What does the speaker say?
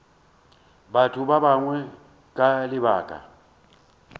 batho ba bangwe ka lebaka